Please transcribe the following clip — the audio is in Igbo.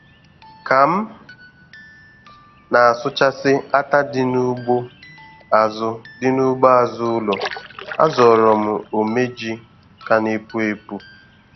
Ka m na-asụchasị átá dị n'ugbo azụ dị n'ugbo azụ ụlọ, a zọrọ m ómé ji ka na-epu epu.